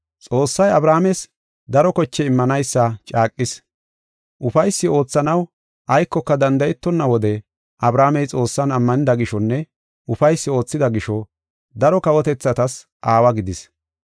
Xoossay Abrahaames daro koche immanaysa caaqis. Ufaysi oothanaw aykoka danda7etonna wode Abrahaamey Xoossan ammanida gishonne ufaysi oothida gisho, daro kawotethatas aawa gidis.